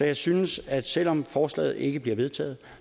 jeg synes at selv om forslaget ikke bliver vedtaget